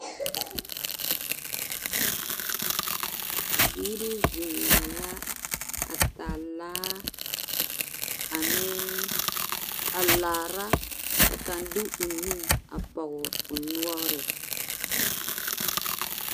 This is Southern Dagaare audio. Bibiiri zeŋɛɛ la a taa laa ane a laara ka kaŋ de o nu a pɔge o noŋre.